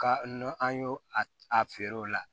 Ka n'o an y'o a feere o la